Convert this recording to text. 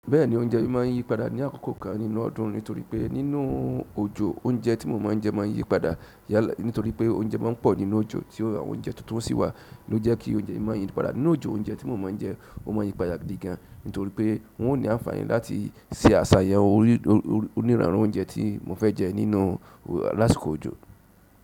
Bẹ́ẹ̀ni, oúnjẹ mi má ń yípadà ní àkókò kan nínú ọdún nítorí pé nínú ojo oúnjẹ tí mo má ń jẹ má ń yípadà. Nitoripe oúnjẹ mọ pọ̀ nínú ojo tí àwọn tuntun sì wa loje kí oúnjẹ má yípadà. Nínú ojo oúnjẹ tí mo má ń jẹ ó má ń yípadà gidi gan nítorí pé wọn ò ní àǹfààní láti ṣe àṣà yàn onírànran oúnjẹ tí mo fẹ jẹ nínú lásìkò òjò.